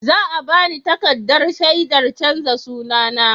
Za a ba ni takardar shaidar canza sunana.